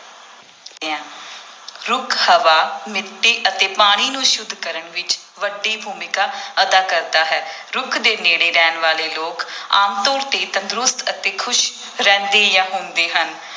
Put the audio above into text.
ਰੁੱਖ ਹਵਾ ਮਿੱਟੀ ਅਤੇ ਪਾਣੀ ਨੂੰ ਸੁੱਧ ਕਰਨ ਵਿੱਚ ਵੱਡੀ ਭੂਮਿਕਾ ਅਦਾ ਕਰਦਾ ਹੈ ਰੁੱਖ ਦੇ ਨੇੜੇ ਰਹਿਣ ਵਾਲੇ ਲੋਕ ਆਮ ਤੌਰ ਤੇ ਤੰਦਰੁਸਤ ਅਤੇ ਖ਼ੁਸ਼ ਰਹਿੰਦੇ ਜਾਂ ਹੁੰਦੇ ਹਨ।